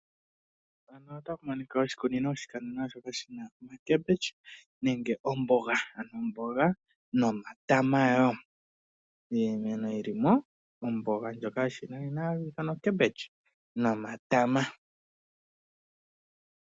Oshikunino shoka shi na omboga nomatama wo. Iimeno yi li mo, omboga ndjoka yoshinanena nomatama.